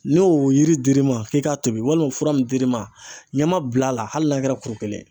Ni o yiri dir'i ma k'i k'a tobi walima fura min dir'i ma ɲama bil'a la hali n'a kɛra kuru kelen ye .